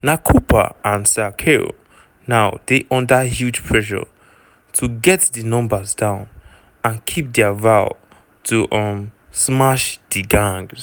na cooper and sir keir now dey under huge pressure to get di numbers down and keep dia vow to um "smash di gangs".